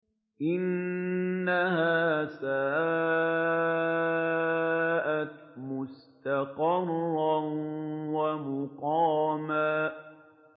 إِنَّهَا سَاءَتْ مُسْتَقَرًّا وَمُقَامًا